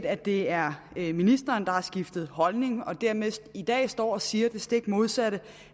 at det er er ministeren der har skiftet holdning og dermed i dag står og siger det stik modsatte